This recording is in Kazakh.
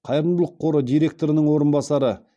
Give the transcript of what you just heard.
қайырымдылық қоры директорының орынбасары